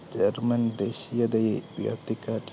German ദേശീയതയെ